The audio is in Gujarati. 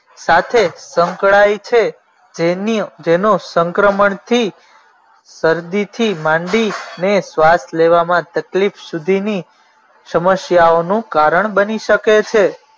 સાથે સંકળાય છે જેની જેનો સંક્રમણ થી શરદીથી માંડી ને શ્વાસ લેવામાં તકલીફ સુધીની સમસ્યાઓનું કારણ બની શકે છે